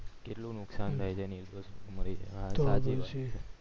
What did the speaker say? કેટલું નુકશાન થય જાય તોહ પછી